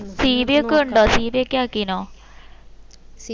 cv ഒക്കെ ഉണ്ടോ cv ഒക്കെ ആക്കിനോ